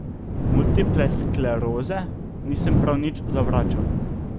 Multiple skleroze nisem nič več zavračal.